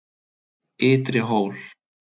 Ytri Hól